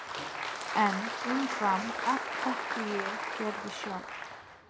En umfram allt þekkti ég Gerði sjálf.